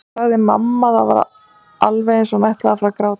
sagði mamma og það var alveg eins og hún ætlaði að fara að gráta.